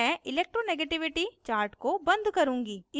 मैं electronegativity chart को बंद करुँगी